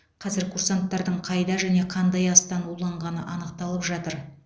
қазір курсанттардың қайда және қандай астан уланғаны анықталып жатыр